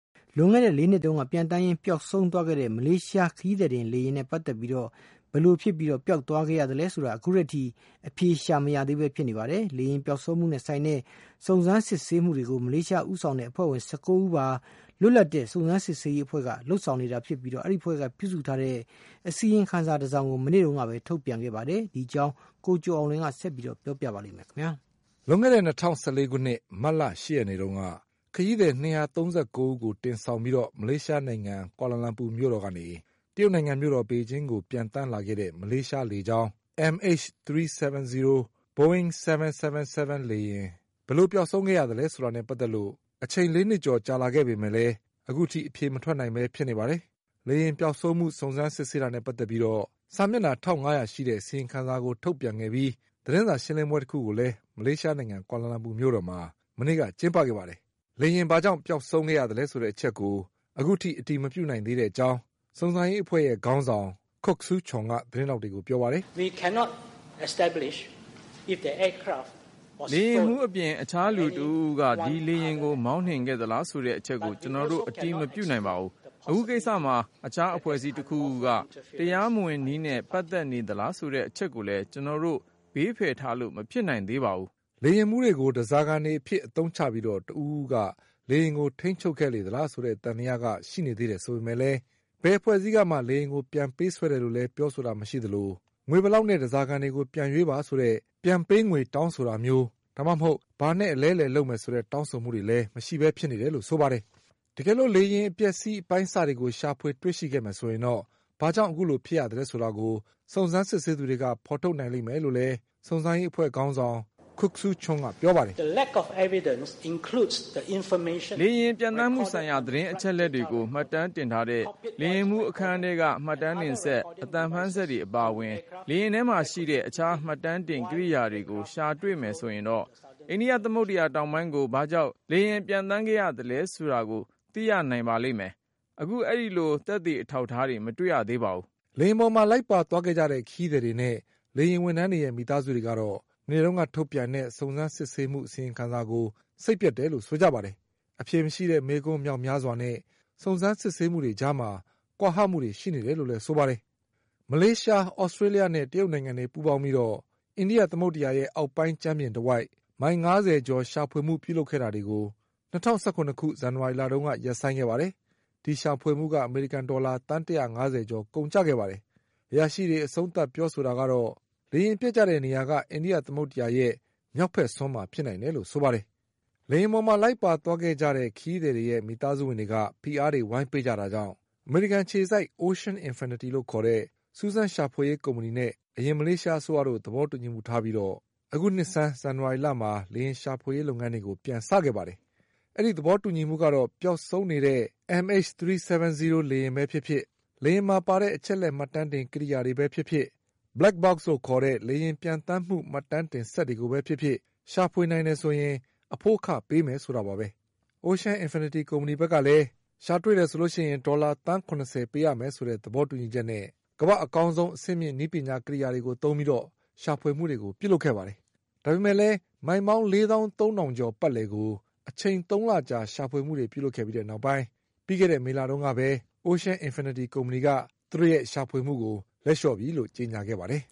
လွန်ခဲ့တဲ့လေးနှစ်တုန်းက ပျံသန်းနေရင်း ပျောက်ဆုံးသွားခဲ့တဲ့ မလေးရှားခရီးသည်တင်လေယာဉ် MH370 နဲ့ပတ်သက်ပြီး ဘယ်လိုဖြစ်ပြီးပျောက်ဆုံးခဲ့ရသလဲဆိုတာ အခုထိ အဖြေရှာမရသေးပဲဖြစ်နေပါတယ်။ လေယဉ်ပျောက်ဆုံးမှုနဲ့ဆိုင်တဲ့ စုံစမ်းစစ်ဆေးမှုတွေကို မလေးရှားဦးဆောင်တဲ့ အဖွဲ့ဝင်၁၉ဦးပါ လွတ်လပ်တဲ့စုံစမ်းစစ်ဆေးရေးအဖွဲ့တခုက လုပ်ဆောင် နေတာဖြစ်ပြီး ဒီအဖွဲ့က ပြုစုထားတဲ့ အစီရင်ခံစာတစောင်ကို မနေ့တုန်းကပဲထုတ်ပြန်ခဲ့ပါတယ်။ ဒီအကြောင်း ကိုကျော်အောင်လွင်က ဆက်ပြောပါလိမ့်မယ်။ လွန်ခဲ့တဲ့၂၀၁၄ခုနှစ် မတ်လ၈ရက်နေ့တုန်းက ခရီးသည်၂၃၉ဦးကိုတင်ဆောင်ပြီး မလေးရှားနိုင်ငံ ကွာလာလမ်ပူမြို့တော် ကနေ တရုတ်နိုင်ငံမြို့တော်ပေကျင်းကိုပျံသန်းလာခဲ့တဲ့မလေးရှားလေကြောင်း MH370 Boeing 777 လေယဉ်ဘယ်လို ပျောက်ဆုံးခဲ့ရသလဲဆိုတာနဲ့ပတ်သက်လို့ အချိန်လေးနှစ်ကျော်ကြာလာပေမဲ့လည်း အဖြေမထွက်နိုင်ပဲဖြစ်နေပါတယ်။ လေယဉ်ပျောက်ဆုံးမှုစုံစမ်းစစ်ဆေးတာနဲ့ပတ်သက်ပြီး စာမျက်နှာထောင့်ငါးရာရှိတဲ့ အစီရင်ခံစာကို ထုတ်ပြန်ခဲ့ပြီး သတင်း စာရှင်းလင်းပွဲတခုကိုလည်း မလေးရှားနိုင်ငံ ကွာလာလမ်ပူမြို့တော်မှာ မနေ့ကကျင်းပခဲ့ပါတယ်။ လေယဉ်ဘာာကြောင့် ပျောက်ဆုံးရ သလဲဆိုတဲ့အချက်ကို အခုထိအတည်မပြုနိုင်သေးတဲ့အကြောင်း စုံစမ်းရေးအဖွဲ့ရဲ့ခေါင်းဆောင် Kok Soo Chonက သတင်းထောက်တွေကိုပြောပါတယ်။ "လေယဉ်မှုးအပြင်တခြားလူတဦးဦးက ဒီလေယဉ်ကိုမောင်းနှင်ခဲ့သလားဆိုတဲ့အချက်ကို ကျနော်တို့အတည်မပြုနိုင်ပါဘူး။ အခုကိစ္စမှာ တခြားအဖွဲ့အစည်းတခုခုက တရားမဝင်နည်းနဲ့ပတ်သက်နေသလားဆိုတဲ့အချက်ကိုလည်း ကျနော်တို့ဘေး ဖယ်ထားလို့မဖြစ်နိုင်သေးပါဘူး။" လေယဉ်မှုးတွေကို ဓါးစာခံအဖြစ်အသုံးချပြီးတဦးဦးက လေယဉ်ကို ထိမ်းချုပ်ခဲ့လေသလားဆိုတဲ့ သံသယကရှိနေသေး တယ်ဆိုပေမဲ့လည်း ဘယ်အဖွဲ့အစည်းကမှ လေယဉ်ကိုပြန်ပေးဆွဲတယ်လို့လည်းပြောဆိုတာမရှိသလို၊ ငွေဘယ်လောက် နဲ့ဓါးစာခံတွေပြန်ရွေးပါဆိုတဲ့ ပြန်ပေးငွေတောင်းတာ၊ ဒါမှမဟုတ် ဘာနဲ့အလဲအလှယ်လုပ်မယ်ဆိုတဲ့ တောင်းဆိုတာတွေလည်းမရှိပဲဖြစ်နေတယ်လို့ဆိုပါတယ်။ တကယ်လို့လေယဉ်အပျက်အစီးအပိုင်းအစတွေကို ရှာဖွေတွေ့ရှိခဲ့မယ်ဆိုရင်တော့ ဘာကြောင့်အခုလိုဖြစ်ရသလဲဆိုတာ ကို စုံစမ်းစစ်ဆေးသူတွေက ထုတ်ဖေါ်နိုင်လိမ့်မယ်လို့လည်း စုံစမ်းရေးအဖွဲ့ခေါင်းဆောင် Kok Soo Chonကပြောပါတယ်။ "လေယဉ်ပျံသန်းမှုဆိုင်ရာသတင်းအချက်အလက်တွေကို မှတ်တမ်းတင်ထားတဲ့ လေယဉ်မှုးအခန်းထဲက မှတ်တမ်းတင် စက်၊ အသံဖမ်းစက်တွေ အပါအဝင် လေယဉ်ထဲမှာရှိတဲ့ တခြားမှတ်တမ်းတင်ကိရိယာတွေကို ရှာတွေ့မယ်ဆိုရင်တော့ အိန္ဒိယသမုဒ္ဒရာ တောင်ပိုင်းကို ဘာကြောင့်လေယဉ်ပျံသန်းခဲ့ရသလဲဆိုတာကိုသိရနိုင်ပါလိမ့်မယ်။ အခုအဲဒီလို သက်သေ အထောက်အထားတွေ မတွေ့ရသေးပါဘူး။" လေယဉ်ပေါ်မှာလိုက်ပါသွားခဲ့ကြတဲ့ခရီးသည်တွေနဲ့ လေယဉ်ဝန်ထမ်းတွေရဲ့မိသားစုတွေကတော့ မနေ့ကထုတ်ပြန်တဲ့စုံ စမ်းစစ်ဆေးမှုအစီရင်ခံစာကို စိတ်ပျက်တယ်လို့ဆိုကြပါတယ်။ အဖြေမရှိတဲ့မေးခွန်းမြောက်များစွာနဲ့ စုံစမ်းစစ်ဆေးမှုတွေ ကြားမှာ ကွာဟမှုတွေရှိနေတယ်လို့လည်းဆိုပါတယ်။ မလေးရှား၊ သြစတေးလျှနဲ့တရုတ်နိုင်ငံတွေပူးပေါင်းပြီး အိန္ဒိယ သမုဒ္ဒရာရဲ့အောက်ပိုင်းကြမ်းပြင်တဝိုက် မိုင်ငါးဆယ်ကျော်ပတ်လည် ရှာဖွေမှုပြုလုပ်တာတွေကို ၂၀၁၇ခု ဇန်နဝါရီလ တုန်းက ရပ်ဆိုင်းခဲ့ပါတယ်။ ဒီရှာဖွေမှုက အမေရိကန်ဒေါ်လာ သန်း၁၅၀ကျော်ကုန်ကျခဲ့ပါတယ်။ အရာရှိတွေအဆုံးသတ် ပြောဆို တာကတော့ လေယဉ်ပျက်ကျတဲ့နေရာက အိန္ဒိယသမုဒ္ဒရာရဲ့မြောက်ဘက်စွန်းမှာဖြစ်နိုင်တယ်လို့ဆိုပါတယ်။ လေယဉ်ပေါ်မှာလိုက်ပါသွားခဲ့ကြတဲ့ခရီးသည်တွေရဲ့မိသားစုဝင်တွေက ဖိအားတွေဝိုင်းပေးကြတာကြောင့် အမေရိကန် အခြေစိုက် Ocean Infinity လို့ခေါ်တဲ့စူးစမ်းရှာဖွေရေးကုမ္ပဏီနဲ့ အရင်မလေးရှားအစိုးရတို့သဘောတူညီမှုထားပြီး အခုနှစ်ဆန်း ဇန်နဝါရှလမှာ လေယဉ်ရှာဖွေရေးလုပ်ငန်းတွေ ပြန်စခဲ့ပါတယ်။ အဲဒီသဘောတူညီမှုကတော့ ပျောက်ဆုံး နေတဲ့ MH370 လေယဉ်ပဲဖြစ်ဖြစ်၊ လေယဉ်မှာပါတဲ့ အချက်အလက်မှတ်တမ်းတင်ကိရိယာတွေပဲ ဖြစ်ဖြစ်၊ Black Box လို့ခေါ်တဲ့လေယဉ်ပျံသန်းမှုမှတ်တမ်းတင်စက်တွေကိုပဲဖြစ်ဖြစ် ရှာဖွေနိုင်တယ်ဆိုရင် အဖိုးအခပေးမယ်ဆိုတာပါပဲ။ Ocean Infinity ကုမ္ပဏီဘက်ကလည်း ရှာတွေ့တယ်ဆိုရင် ဒေါ်လာသန်း၇၀ပေးရမယ်ဆိုတဲ့ သဘောတူညီချက်နဲ့ ကမ္ဘာ့ အကောင်းဆုံး အဆင့်မြင့်နည်းပညာကိရိယာတွေသုံးပြီး ရှာဖွေမှုတွေလုပ်ခဲ့ပါတယ်။ ဒါပေမဲ့လည်း မိုင်ပေါင်းလေးသောင်း သုံးထောင် ကျော်ပတ်လည်ကို အချိန်သုံးလကြာရှာဖွေမှုတွေလုပ်ခဲ့ပြီးနောက်ပိုင်း ပြီးခဲ့တဲ့ မေလတုန်းကပဲ Ocean Infinity ကုမ္ပဏီက သူတို့ရဲ့ရှာဖွေမှုကို လက်လျှော့ပြီလို့ကြေညာခဲ့ပါတယ်